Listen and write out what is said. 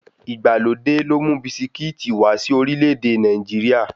Ìgbàlódé ló mú bisikíìtì wá sí orílẹ̀-èdè Nàìjíríà.